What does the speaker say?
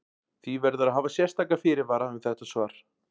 Því verður að hafa sérstaka fyrirvara um þetta svar.